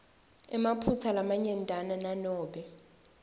emaphutsa lamanyentana nanobe